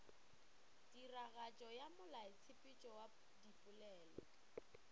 tiragatšo ya molaotshepetšo wa dipolelo